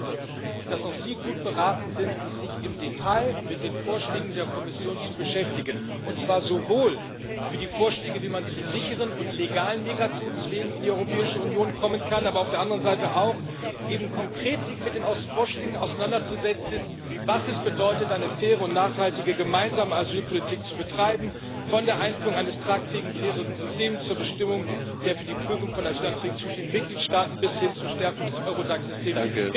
Ich glaube, dass auch Sie gut beraten sind, sich im Detail mit den Vorschlägen der Kommission zu beschäftigen, und zwar sowohl mit den Vorschlägen, wie man auf sicheren und legalen Migrationswegen in die Europäische Union kommen kann, aber sich auf der anderen Seite eben auch konkret mit den Vorschlägen auseinanderzusetzen, was es bedeutet, eine faire und nachhaltige, gemeinsame Asylpolitik zu betreiben von der Einführung eines tragfähigen fairen System zur Bestimmung der für die Prüfung von Asylanträgen zuständigen Mitgliedstaaten bis hin zur Stärkung des EURODAC Systems.